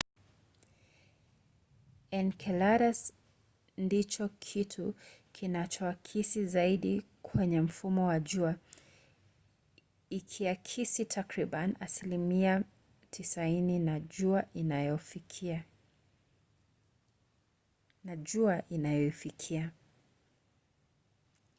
enceladus ndicho kitu kinachoakisi zaidi kwenye mfumo wa jua ikiakisi takribani asilimia 90 ya jua inayoifikia